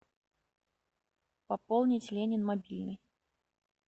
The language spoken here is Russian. пополнить ленин мобильный